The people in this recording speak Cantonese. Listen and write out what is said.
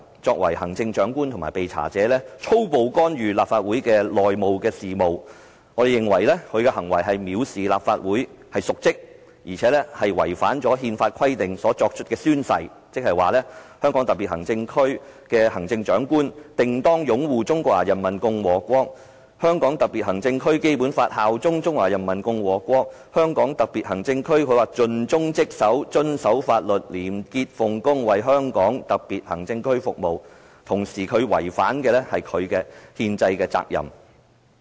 作為行政長官及被查者，他粗暴干預立法會的內部事務，我們認為他的行為是藐視立法會，是瀆職，而且違反他根據憲法規定作出的宣誓，即"香港特別行政區行政長官定當擁護《中華人民共和國香港特別行政區基本法》，效忠中華人民共和國香港特別行政區，盡忠職守、遵守法律、廉潔奉公，為香港特別行政區服務"，他也違反了他的憲制責任。